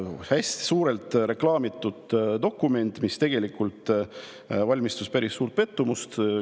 See hästi suurelt reklaamitud dokument valmistas tegelikult päris suurt pettumust.